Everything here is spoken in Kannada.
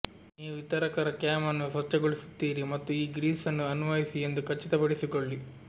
ನೀವು ವಿತರಕರ ಕ್ಯಾಮ್ ಅನ್ನು ಸ್ವಚ್ಛಗೊಳಿಸುತ್ತೀರಿ ಮತ್ತು ಈ ಗ್ರೀಸ್ ಅನ್ನು ಅನ್ವಯಿಸಿ ಎಂದು ಖಚಿತಪಡಿಸಿಕೊಳ್ಳಿ